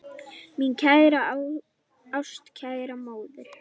Mín kæra, ástkæra móðir.